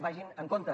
vagin amb compte